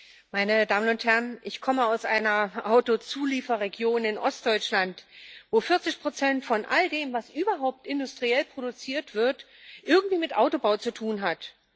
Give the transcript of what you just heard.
Herr Präsident, meine Damen und Herren! Ich komme aus einer Autozulieferregion in Ostdeutschland, wo 40 von all dem, was überhaupt industriell produziert wird, irgendwie mit Autobau zu tun hat.